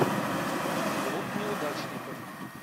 клуб неудачников